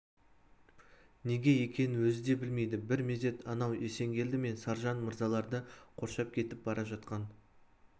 неге екенін өзі де білмейді бір мезет анау есенгелді мен саржан мырзаларды қоршап кетіп бара жатқан